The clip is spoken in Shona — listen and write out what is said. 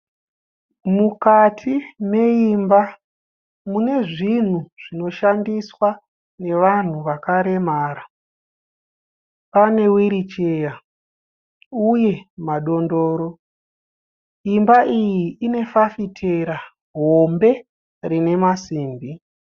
Mukati meimba mune zvinhu zvinoshandiswa nevanhu vakaremara. Pane hwiricheya uye madondoro. Imba iyi ine fafitera hombe rine masimbi.